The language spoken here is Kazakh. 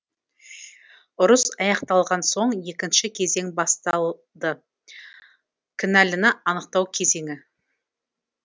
ұрыс аяқталған соң екінші кезең басталды кінәліні анықтау кезеңі